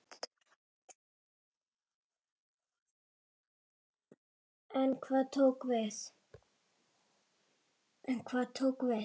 En hvað tók við?